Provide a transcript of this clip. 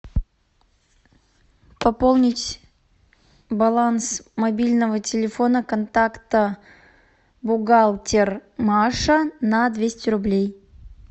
пополнить баланс мобильного телефона контакта бухгалтер маша на двести рублей